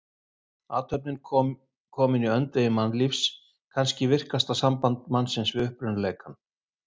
Athöfnin komin í öndvegi mannlífs, kannski virkasta samband mannsins við upprunaleikann.